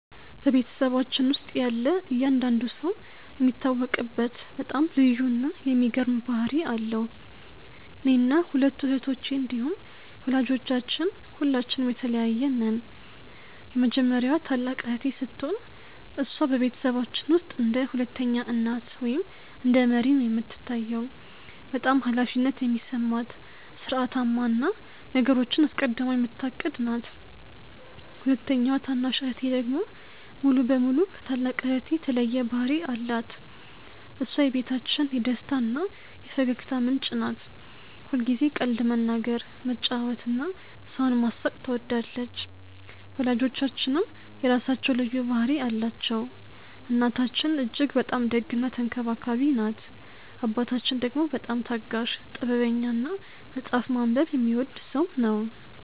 በቤተሰባችን ውስጥ ያለ እያንዳንዱ ሰው የሚታወቅበት በጣም ልዩ እና የሚገርም ባህሪ አለው። እኔና ሁለቱ እህቶቼ እንዲሁም ወላጆቻችን ሁላችንም የተለያየን ነን። የመጀመሪያዋ ታላቅ እህቴ ስትሆን፣ እሷ በቤተሰባችን ውስጥ እንደ ሁለተኛ እናት ወይም እንደ መሪ ነው የምትታየው። በጣም ኃላፊነት የሚሰማት፣ ሥርዓታማ እና ነገሮችን አስቀድማ የምታቅድ ናት። ሁለተኛዋ ታናሽ እህቴ ደግሞ ሙሉ በሙሉ ከታላቅ እህቴ የተለየ ባህሪ አላት። እሷ የቤታችን የደስታ እና የፈገግታ ምንጭ ናት። ሁልጊዜ ቀልድ መናገር፣ መጫወት እና ሰውን ማሳቅ ትወዳለች። ወላጆቻችንም የራሳቸው ልዩ ባህሪ አላቸው። እናታችን እጅግ በጣም ደግ እና ተንከባካቢ ናት። አባታችን ደግሞ በጣም ታጋሽ፣ ጥበበኛ እና መጽሐፍ ማንበብ የሚወድ ሰው ነው።